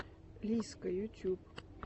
лиззка ютюб